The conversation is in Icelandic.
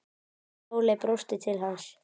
Sóley brosti til hans.